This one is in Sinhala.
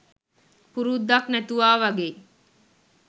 පුරුද්දක් නැතුවා වාගෙයි